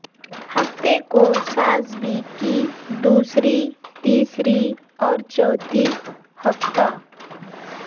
ہفتہ کو سسابی کی دوسری تیسری اور چوتھی ہفتہ